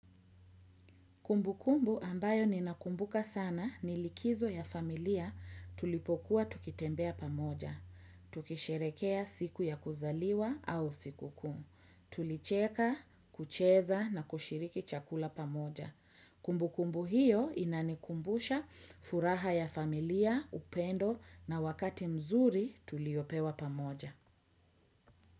Kumbukumbu ambayo ninakumbuka sana ni likizo ya familia tulipokuwa tukitembea pamoja. Tukisherekea siku ya kuzaliwa au sikukuu. Tulicheka, kucheza na kushiriki chakula pamoja. Kumbukumbu hiyo inanikumbusha furaha ya familia, upendo na wakati mzuri tuliopewa pamoja.